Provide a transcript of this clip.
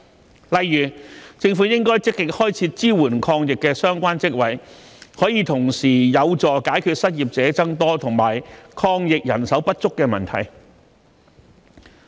舉例來說，政府應積極開設支援抗疫的相關職位，可同時有助解決失業者增多及抗疫人手不足的問題。